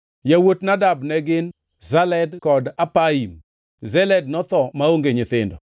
Yawuot Nadab ne gin: Seled kod Apaim. Seled notho maonge nyithindo.